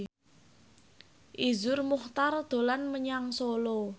Iszur Muchtar dolan menyang Solo